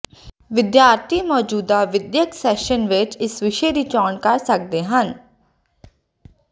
ਵਿਦਿਆਰਥੀ ਮੌਜੂਦਾ ਵਿੱਦਿਅਕ ਸੈਸ਼ਨ ਵਿੱਚ ਇਸ ਵਿਸ਼ੇ ਦੀ ਚੋਣ ਕਰ ਸਕਦੇ ਹਨ